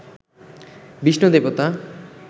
বিষ্ণু দেবতা